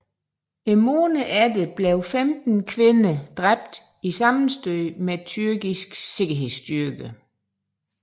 Måneden efter blev 15 kvinder dræbt i sammenstød med tyrkiske sikkerhedsstyrker